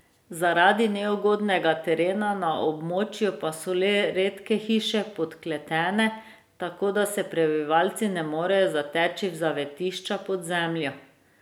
Zaradi neugodnega terena na območju pa so le redke hiše podkletene, tako da se prebivalci ne morejo zateči v zavetišča pod zemljo.